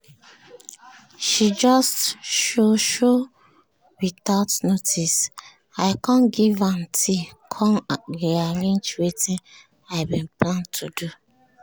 she just show show without notice i com give am tea com rearrange wetin i bin plan to do.